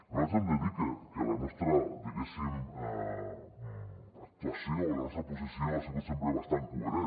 nosaltres hem de dir que la nostra diguéssim actuació o la nostra posició ha sigut sempre bastant coherent